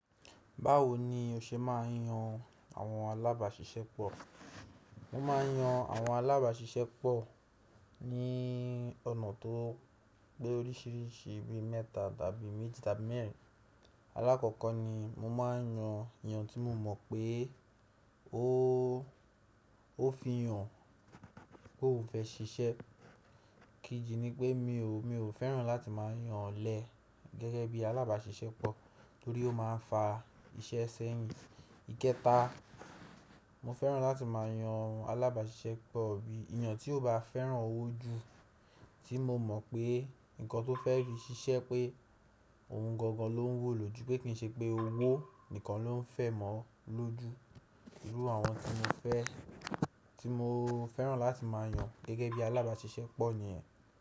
Báwo ni o ṣe máa n yan àwọn alábàáṣiṣẹ́ pọ̀? Mo máa n yan àwọn alábàáṣiṣẹ́ pọ̀ ní ọ̀nà tó pé oríṣìíríṣìí bíi mẹ́ta tàbí méjì tàbí mẹ́rin. Alákọ̀ọ́kọ́ ni mo máa n yan èèyàn tí mo mọ̀ pé ó fi hàn pé óun fẹ́ ṣiṣẹ́. Ikeji ni pé mi ò fẹ́ràn láti máa yan ọ̀lẹ gẹ́gẹ́ bí alábàáṣiṣẹ́ pọ̀ torí ó máa n fa iṣẹ́ sẹ́yìn. Ìkẹta, mo fẹ́ràn láti máa yan alábàáṣiṣẹ́ pọ̀ bí èèyàn tí ó bá fẹ́ràn owó jù, tí mo mọ̀ pé nǹkan tó fẹ́ fi ṣiṣẹ́ pé ohun gangan ló ń wó ló jù, pé kì í ṣe pé owó nìkan ló ń fẹ́ mọ́ ló jù. Irú àwọn tí mo fẹ́ràn láti máa yan gẹ́gẹ́ bí alábáṣiṣẹ́ pọ̀ nìyẹn.